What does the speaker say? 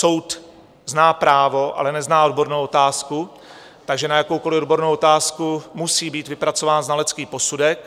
Soud zná právo, ale nezná odbornou otázku, takže na jakoukoli odbornou otázku musí být vypracován znalecký posudek.